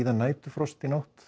næturfrost í nótt